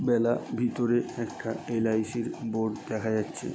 বেলা ভিতরে একটা এল.আই.সি. -র বোর্ড দেখা যাচ্ছে।